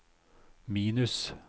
minus